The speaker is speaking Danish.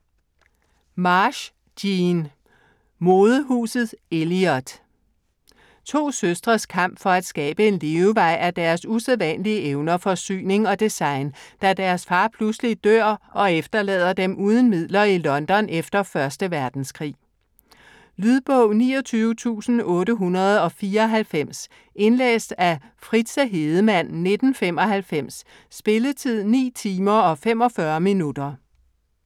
Marsh, Jean: Modehuset Eliott To søstres kamp for at skabe en levevej af deres usædvanlige evner for syning og design, da deres far pludselig dør og efterlader dem uden midler i London efter 1. verdenskrig. Lydbog 29894 Indlæst af Fritze Hedemann, 1995. Spilletid: 9 timer, 45 minutter.